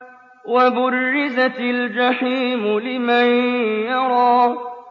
وَبُرِّزَتِ الْجَحِيمُ لِمَن يَرَىٰ